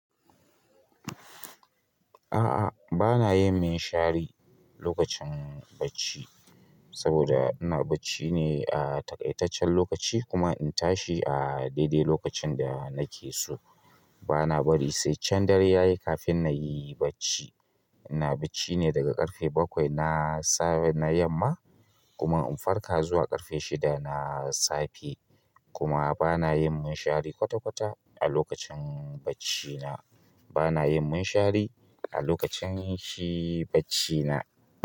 A'a, ba na yin munshari lokacin bacci saboda ina bacci ne a taƙaitaccen lokaci kuma in tashi a daidai lokacin da nake so. Ba na bari sai can dare yayi kafin na yi bacci. Ina bacci ne daga ƙarfe bakwai na yamma kuma in farka zuwa ƙarfe shida na safe kuma ba na yin munshari kwata-kwata a lokacin bacci na. Ba na yin munshari a lokacin shi bacci na.